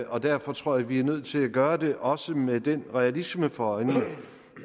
og derfor tror jeg vi er nødt til at gøre det også med den realisme for øje